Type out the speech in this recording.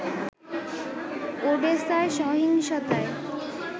ওডেসায় সহিংসতায়